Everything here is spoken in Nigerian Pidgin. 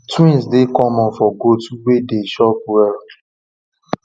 twins dey common for goats way dey chop well